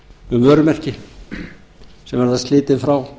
um vörumerki sem verða slitin frá